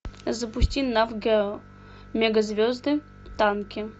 запусти мегазвезды танки